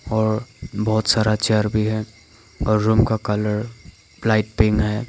और बहोत सारा चेयर भी है और रूम का कलर लाइट पिंक है।